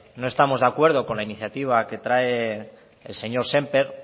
no estamos de acuerdo con la iniciativa que trae el señor sémper